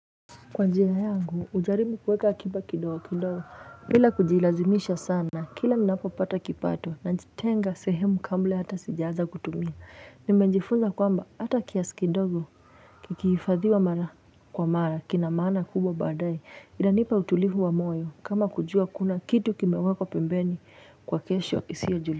Kwa njia yangu, hujaribu kuweka akiba kidogo, kidogo, bila kujilazimisha sana, kila ninapo pata kipato, na jitenga sehemu kabla hata sijaaza kutumia. Nimejifunza kwamba, hata kiasikidogo kikihifadhiwa mara kwa mara, kinamaana kubwa baadaye, inanipa utulivu wa moyo, kama kujua kuna kitu kimewekwa pembeni kwa kesho isiyojulikana.